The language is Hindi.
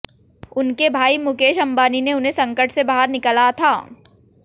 उनके भाई मुकेश अंबानी ने उन्हें संकट से बाहर निकला था